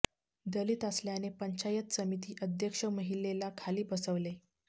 दलित असल्याने पंचायत समिती अध्यक्ष महिलेला खाली बसवले